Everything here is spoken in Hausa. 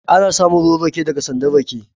Ana samun ruwan rake daga sandan rake